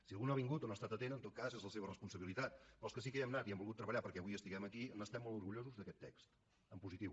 si algú no ha vingut o no hi ha estat atent en tot cas és la seva responsabilitat però els que sí que hi hem anat i hem volgut treballar perquè avui estiguem aquí n’estem molt orgullosos d’aquest text en positiu